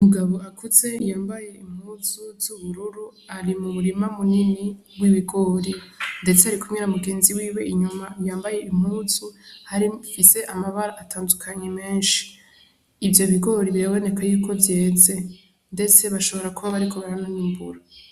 Umugabo akuze yambaye impuzu z'ubururu ari mu murima munini w' ibigori ndetse arikumwe na mugenzi wiwe inyuma yambaye impuzu ifise amabara atandukanye menshi ivyo bigori biraboneka yuko vyeze ndetse bashobora kuba bariko barananimbura.